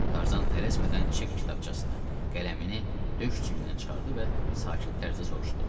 Tarzan tələsmədən çek kitabçasını, qələmini döş cibindən çıxartdı və sakit tərzdə soruşdu: